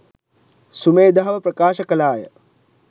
සුමේධාව ප්‍රකාශ කළාය